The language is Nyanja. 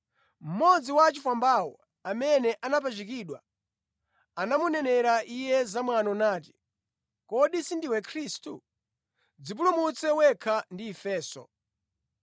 Mmodzi wa achifwambawo, amene anapachikidwa, anamunenera Iye zamwano nati, “Kodi sindiwe Khristu? Dzipulumutse wekha ndi ifenso!”